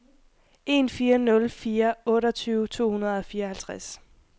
en fire nul fire otteogtyve to hundrede og fireoghalvtreds